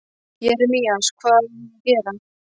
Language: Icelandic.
Jeremías, hvað á ég að gera?